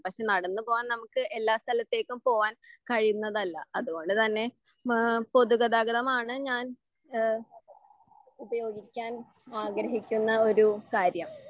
പക്ഷെ നടന്ന് പോവാൻ നമ്മുക്ക് എല്ലാ സലത്തേക്കും പോവാൻ കഴിയുന്നത് അല്ല അതുപോലെ തന്നെ ഏഹ് പൊതുഗതാഗതമാണ് ഞാൻ എഹ് ഉപയോഗിക്കാൻ ആഗ്രഹിക്കുന്ന ഒരു കാര്യം.